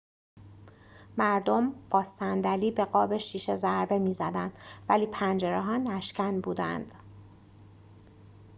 مردم با صندلی به قاب شیشه ضربه می‌زدند ولی پنجره‌ها نشکن بودند